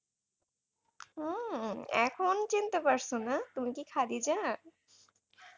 উম এখন চিনতে পারছো না তুমি কি খাদিজা?